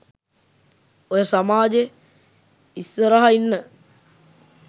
ඔය සමාජෙ ඉස්සරහ ඉන්න